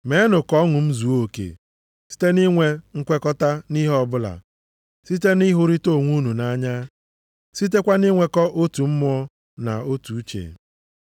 meenụ ka ọṅụ m zuo oke, site nʼinwe nkwekọta nʼihe ọbụla, site nʼịhụrịta onwe unu nʼanya, sitekwa nʼinwekọ otu mmụọ, na otu uche.